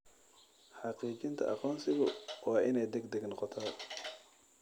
Xaqiijinta aqoonsigu waa inay degdeg noqotaa.